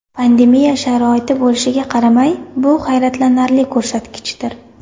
Pandemiya sharoiti bo‘lishiga qaramay, bu hayratlanarli ko‘rsatgichdir.